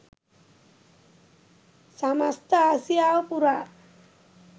සමස්ත ආසියාව පුරා